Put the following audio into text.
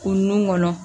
Kun nun kɔnɔ